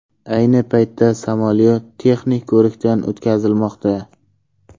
Ayni paytda samolyot texnik ko‘rikdan o‘tkazilmoqda.